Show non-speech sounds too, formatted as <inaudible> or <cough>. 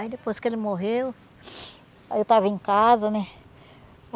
Aí depois que ele morreu, <sighs> aí eu estava em casa, né?